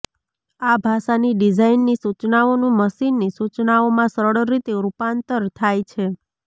આ ભાષાની ડિઝાઈનની સૂચનાઓનું મશીનની સૂચનાઓમાં સરળ રીતે રૂપાંતર થાય છે